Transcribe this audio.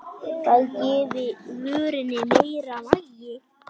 Það gefi vörunni meira vægi.